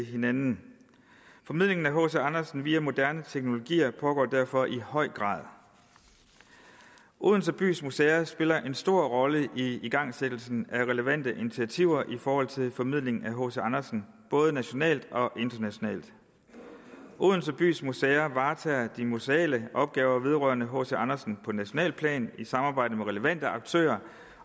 hinanden formidlingen af hc andersen via moderne teknologier pågår derfor i høj grad odense bys museer spiller en stor rolle i igangsættelsen af relevante initiativer i forhold til formidlingen af hc andersen både nationalt og internationalt odense bys museer varetager de museale opgaver vedrørende hc andersen på nationalt plan i samarbejde med relevante aktører